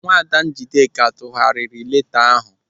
Nwaada Njideka tụgharịrị leeta ahụ.